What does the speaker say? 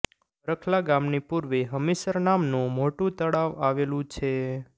બખરલા ગામની પુર્વે હમીસર નામનું મોટું તળાવ આવેલુ છે